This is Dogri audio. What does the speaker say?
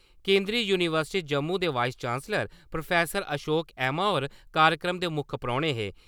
केंदरी यूनिवर्सिटी जम्मू दे vice chancellor professor Ashok Aima होर कार्यक्रम दे मुक्ख परौने हे।